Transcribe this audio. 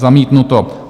Zamítnuto.